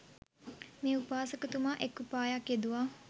මේ උපාසකතුමා එක් උපායක් යෙදුවා.